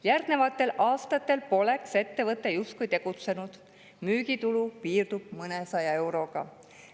Järgnevatel aastatel poleks ettevõte justkui tegutsenud, müügitulu piirdub mõnesaja euroga.